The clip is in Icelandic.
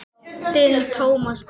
Þinn Tómas Berg.